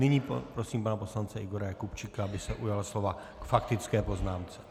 Nyní prosím pana poslance Igora Jakubčíka, aby se ujal slova k faktické poznámce.